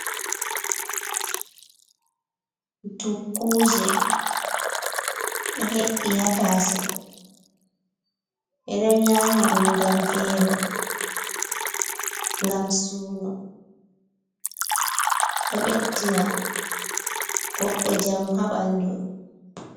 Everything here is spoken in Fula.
Dukkuje ɗo he’i ha tasau, ɓe ɗo nyama ɗum ngam velo, ngam suno, ɗo ɓeddina goɗɗo jamu ha ɓandu.